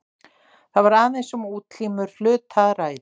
Þar var aðeins um útlínur hluta að ræða.